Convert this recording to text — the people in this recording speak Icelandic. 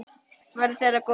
Verði þér að góðu.